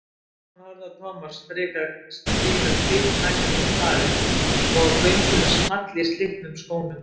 Stefán horfði á Thomas stika kviknakinn um hlaðið og á göngunni small í slitnum skónum.